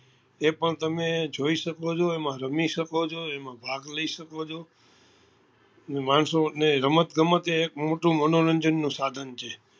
એ પણ તમે જોઈ શકો છો એમાં રમી શકો છો એમાં ભાગ લઇ શકો છો ને માણસો ને રમત ગમત એ એક મોટું મનોરંજન નું મોટું સાધન છે